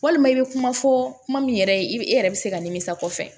Walima i bɛ kuma fɔ kuma min yɛrɛ ye i bɛ e yɛrɛ bɛ se ka nimisi kɔfɛ